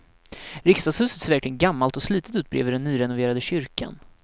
Riksdagshuset ser verkligen gammalt och slitet ut bredvid den nyrenoverade kyrkan.